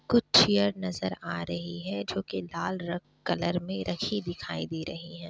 कुछ चेयर नजर आ रही है। जो के लाल रंग कलर मे रखी दिखाई दे रही है ।